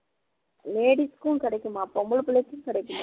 ladies க்கும் கிடைக்குமா பொம்பளை புள்ளைக்கும் கிடைக்குமா